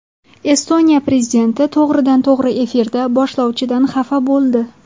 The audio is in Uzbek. Estoniya prezidenti to‘g‘ridan-to‘g‘ri efirda boshlovchidan xafa bo‘ldi .